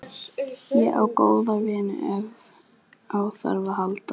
Ég á góða vini ef á þarf að halda.